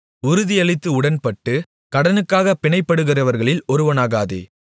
உறுதியளித்து உடன்பட்டு கடனுக்காகப் பிணைப்படுகிறவர்களில் ஒருவனாகாதே